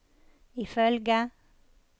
ifølge